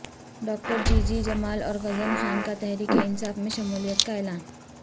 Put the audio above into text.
doctor G G Jamal اور غزن خان کا تحریک انصاف میں شمولیت کا اعلان